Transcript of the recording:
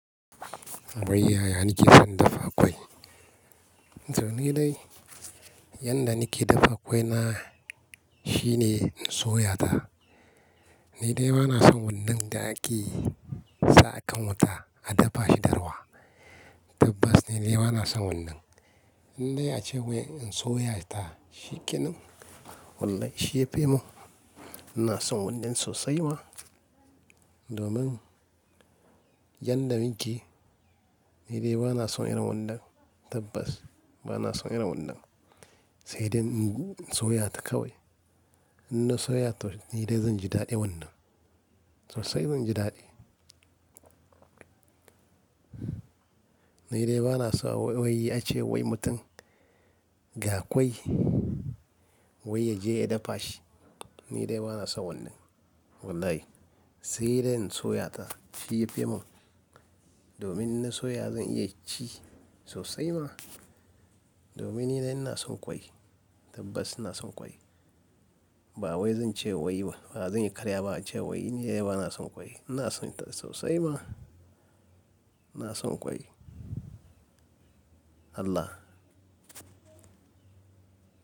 Wai yaya kike son dafa ƙwai? To ni dai, yanda nake dafa ƙwai na shine in soya ta. Ni dai bana son wannan da ake saka wuta a dafa shi da ruwa. Tabbas ni dai bana son wannan. Ni dai ace wai in an soya ta shikenan. Wannan shi yafi mun. Ina son wannan sosai ma domin yanda muke, ni dai bana son irin wannan. Tabbas bana son irin wannan. Sai dai in soya ta kawai. In na soya ta, ni dai zanji daɗin wannan. Sosai zanji daɗi. Ni dai bana so wai ace wai mutum ga ƙwai wai yaje ya dafa shi. Ni dai bana son wannan. Wallahi sai dai in soya ta shi yafi mun. Domin in na soya zan iya ci sosai ma. Domin ni dai ina son ƙwai. Tabbas ina son ƙwai. Ba wai zan ce wai ba, ba zan yi karya ba ace wai. Ni dai bana son ƙwai. Ina son ta sosai ma. Ina son ƙwai. Allah.